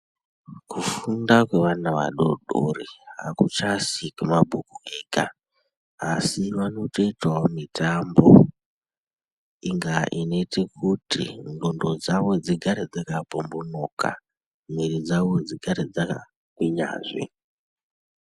Kufunda kwevana vadodori akuchazi kwemabhuku ega asi vanotoitawo mitambo ingaa inoitekuti ndxondo dzawo dzigare dzakapombonoka mwiri dzawo dzigare dzakagwinyazve.